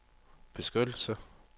beskyttelse